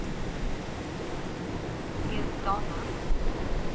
Edane